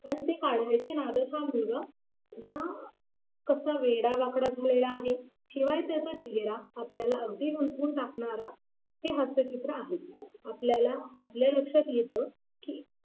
पण ते काढायचं नादात हा मुलगा कसा वेडा वाकडा झालेला आहे. शिवाय त्याचा चेहरा आपल्याला अगदी उलटून टाकणारा हे असे चित्र आहे. आपल्याला आपल्या लक्षात येतं की